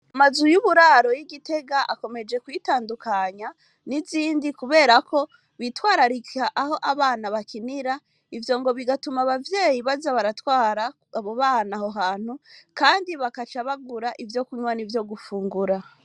Amazu y'uburaro, y' i Gitega, akomeje kwitandukanya n'izindi, kubera ko, bitwararika aho abana bakinira, ivyo ngo bigatuma, abavyeyi baza baratwara, abo bana aho hantu; kandi bakaca bagura, ivyo kunywa, n'ivyo gufungura.